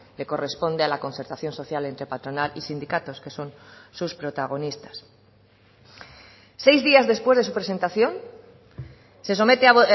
le corresponde a la concertación social entre patronal y sindicatos que son sus protagonistas seis días después de su presentación se somete a